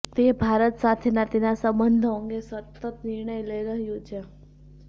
તે ભારત સાથેના તેના સંબંધો અંગે સતત નિર્ણય લઈ રહ્યું છે